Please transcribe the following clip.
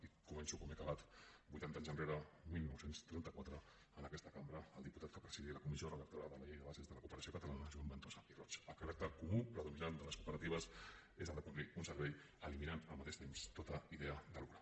i començo com he acabat vuitanta anys enrere dinou trenta quatre en aquesta cambra el diputat que presidia la comissió redactora de la llei de bases de la cooperació catalana joan ventosa i roig el caràcter comú predominant de les cooperatives és el de complir un servei eliminant al mateix temps tota idea de lucre